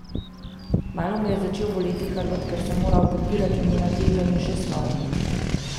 Kmalu me je začel boleti hrbet, ker sem moral podpirati njeno težo in še svojo.